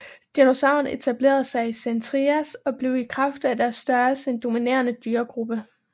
Dinosaurerne etablerede sig i Sen Trias og blev i kraft af deres størrelse en dominerende dyregruppe